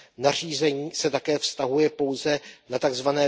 Nařízení se také vztahuje pouze na tzv.